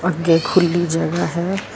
ਅੱਥੇ ਖੁੱਲੀ ਜਗ੍ਹਾ ਹੈ।